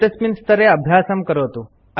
एतस्मिन् स्तरे अभ्यासं करोतु